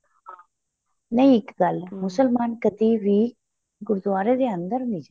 ਨਹੀਂ ਇੱਕ ਗੱਲ ਏ ਮੁਸਲਮਾਨ ਕਦੀਂ ਵੀ ਗੁਰੂਦੁਆਰੇ ਦੇ ਅੰਦਰ ਨਹੀਂ ਜਾਂਦੇ